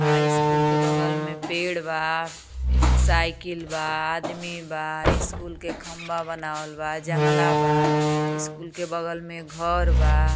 School के बगल में पेड़ बा साइकिल बा आदमी बा स्कूल के खंभा बनावल बा जंगला बा स्कूल के बगल में घर बा।